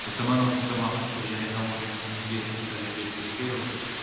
экономикалық ынтымақтастық және даму ұйымдерінің тәжірибесін ескере отырып